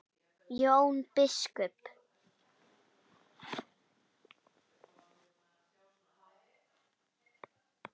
Jón biskup!